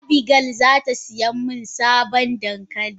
Abigail zatasiyamin sabon dankali.